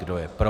Kdo je pro?